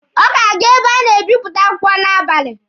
Ọ ga-aga ebe a na-ebịpụta akwụkwọ n'abali.